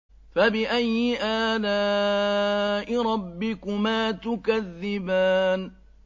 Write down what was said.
فَبِأَيِّ آلَاءِ رَبِّكُمَا تُكَذِّبَانِ